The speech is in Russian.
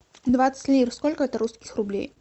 двадцать лир сколько это русских рублей